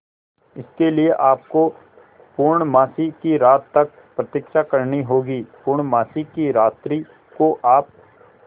इसके लिए आपको पूर्णमासी की रात्रि तक प्रतीक्षा करनी होगी पूर्णमासी की रात्रि को आप